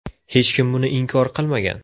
Hech kim buni inkor qilmagan.